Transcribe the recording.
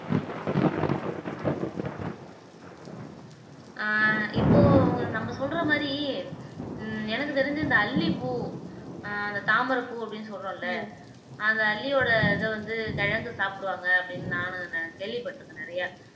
ஆஹ் இப்போ நம்ம சொல்ற மாதிரி உம் எனக்குத் தெரிஞ்சு இந்த அல்லிப்பூ அஹ் அந்த தாமரைப்பூ அப்படீன்னு சொல்றோம்ல அந்த அல்லியோட இதை வந்து கிழங்கு சாப்பிடுவாங்க அப்படின்னு நானும் நி கேள்விப்பட்டிருக்கேன் நிறையா